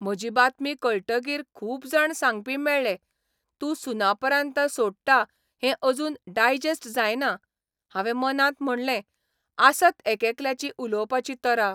म्हजी बातमी कळटकीर खूब जाण सांगपी मेळ्ळे तूं 'सुनापरान्त 'सोडटां हें अजून डायजेस्ट जायना हावें मनांत म्हणलें आसत एकेकल्याची उलोवपाची तरा.